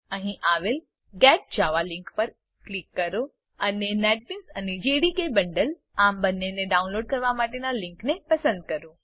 અહીં આવેલ get Java link પર ક્લિક કરો અને નેટબીન્સ અને જેડીકે બંડલ આમ બંનેને ડાઉનલોડ કરવા માટેનાં લીંકને પસંદ કરો